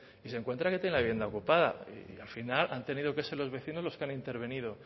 y se encuentra que tiene la vivienda ocupada y al final han tenido que ser los vecinos los que han intervenido